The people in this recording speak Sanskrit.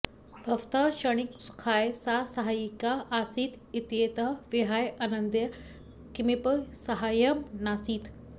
भवतः क्षणिकसुखाय सा साहायिका आसीत् इत्येतत् विहाय अन्यद् किमपि साहाय्यं नासीत्